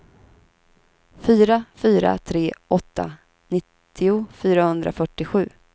fyra fyra tre åtta nittio fyrahundrafyrtiosju